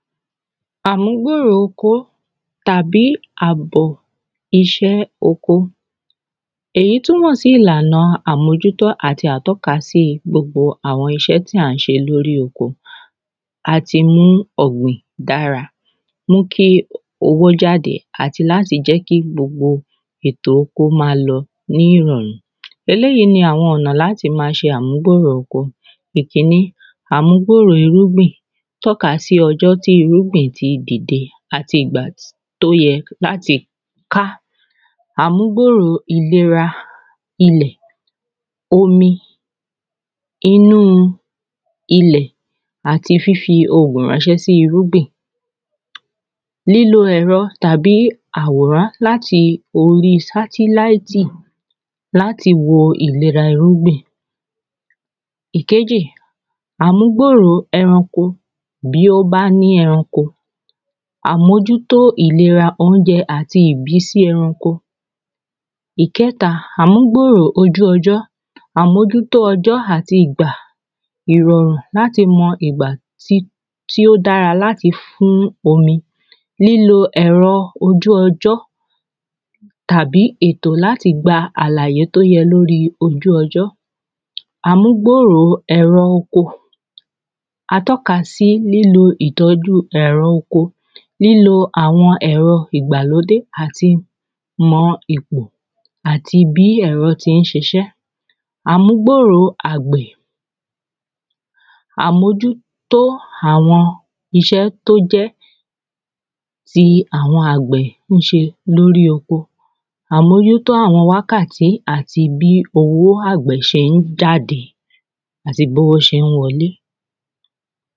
àmúgbòrò okó tàbí àbọ̀ iṣẹ́ oko èyí túmọ̀ sí ìlànà àmójútó àti atọ́ka sí gbogbo àwọn iṣẹ́ tí à ń ṣe lórí oko a ti mú ọ̀gbìn dára mú kí owó jáde àti láti jẹ́ kí gbogbo ètò kó ma lọ ni ìrọ̀rùn eléyí ní àwọn ọ̀nà láti ma ṣe amúgbòrò oko ikíní amúgbòrò irúgbìn tọ́ ka sí irúgbìn tí dìde àti ìgbà tí tó yẹ láti ká amúgbòrò ìlera ilẹ̀ ó ní irú ilẹ̀ àti fífi oògùn ránṣẹ́ sí irúgbìn lílo ẹ̀rọ tàbí àwòrán láti orí sátíláìtì láti wo ìlera irúgbìn ìkejè amúgbòrò eranko bí ó bá ní eranko àmójútó ìlera óunjẹ àti ìbísí eranko ìkẹ́ta amúgbòrò ojú ọjọ́ àmójútó ọjọ́ àti ìgbà ìrọ̀rùn láti mọ ìgbà tí ó dára láti fín omi lílo ẹ̀rọ ojú ọjọ́ tàbí ètò láti gba àlàyé tó yẹ lórí ojú ọjọ́ amúgbòrò ẹ̀rọ oko atọ́ka sí lilo ìtọ́jú ẹ̀rọ oko lílo àwọn ẹ̀rọ ìgbàlódé àti mọ ètò àti bí ẹ̀rọ ṣé ń ṣiṣẹ́ amúgbòrò àgbẹ̀ àmójútó àwọn iṣẹ́ tó jẹ́ ti àwọn àgbẹ̀ ó ṣe lórí oko àmójútó àwọn wákàtí àti bí owó àgbẹ̀ ṣe ń jáde àti bowó ṣe ń wọ lé